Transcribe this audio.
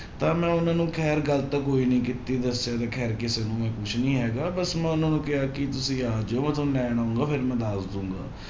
ਤਾਂ ਮੈਂ ਉਹਨਾਂ ਨੂੰ ਖੈਰ ਗੱਲ ਤਾਂ ਕੋਈ ਨੀ ਕੀਤੀ ਵੈਸੇ ਵੀ ਖੈਰ ਕਿਸੇ ਨੂੰ ਮੈਂ ਕੁਛ ਨੀ ਹੈਗਾ ਬਸ ਮੈਂ ਉਹਨਾਂ ਨੂੰ ਕਿਹਾ ਕਿ ਤੁਸੀਂ ਆ ਜਾਓ ਮੈਂ ਤੁਹਾਨੂੰ ਲੈਣ ਆਊਂਗਾ ਫਿਰ ਮੈਂ ਦੱਸ ਦਊਂਗਾ